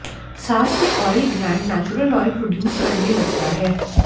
साथ ही oil gland natural oil produce करने लगता है